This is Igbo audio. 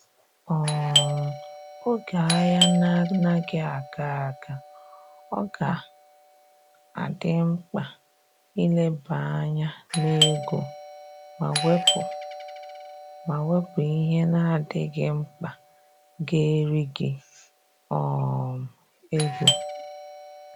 um Oge ahia anaghị aga aga, ọ ga adị mkpa ileba anya n'ego ma wepu ma wepu ihe na adịghị mkpa ga eri gị um ego